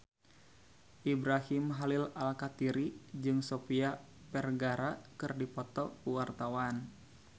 Ibrahim Khalil Alkatiri jeung Sofia Vergara keur dipoto ku wartawan